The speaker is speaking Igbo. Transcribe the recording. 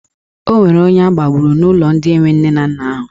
Ọ nwere onye agbagburu n'ụlọ ndị enwe nne na nna ahụ.